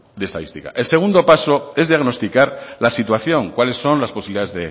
de estadística el segundo paso es diagnosticar la situación cuáles son las posibilidades